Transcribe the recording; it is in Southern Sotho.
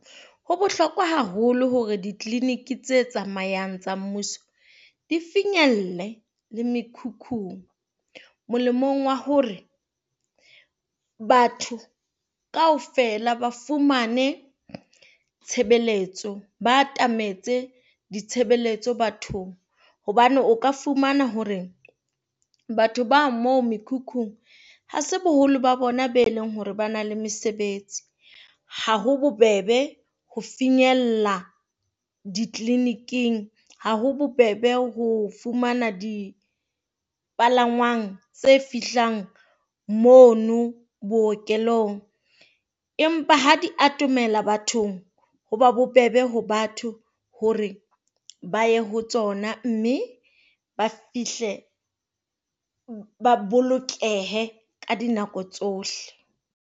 Ho bohlokwa haholo hore di-clinic tse tsamayang tsa mmuso di finyelle le mekhukhung, molemong wa hore batho kaofela ba fumane tshebeletso. Ba atametse ditshebeletso bathong hobane o ka fumana hore batho ba moo mekhukhung. Ha se boholo ba bona be leng hore ba na le mesebetsi. Ha ho bobebe ho finyella di-clinic-ing, ha ho bobebe ho fumana dipalangwang tse fihlang mono bookelong empa ha di atomela bathong ho ba bobebe ho batho hore ba ye ho tsona, mme ba fihle ba bolokehe ka dinako tsohle.